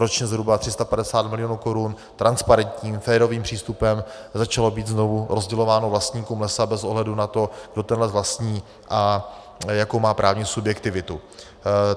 Ročně zhruba 350 milionů korun transparentním, férovým přístupem začalo být znovu rozdělováno vlastníkům lesa bez ohledu na to, kdo ten les vlastní a jakou má právní subjektivitu.